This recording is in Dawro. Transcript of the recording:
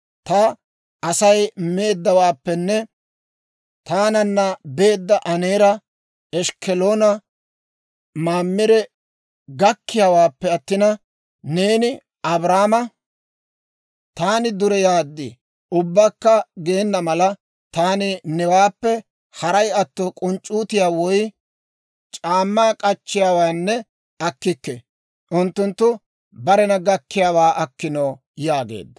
Ta Asay meeddawaappenne taananna beedda Aneera, Eshkkolanne Mamire gakkiyaawaappe attina, neeni, ‹Abraama taani dureyaad› ubbakka geena mala, taani newaappe haray atto k'unc'c'uutiyaa woy c'aammaa k'achchiyaawaanne akkikke. Unttunttu barena gakkiyaawaa akkino» yaageedda.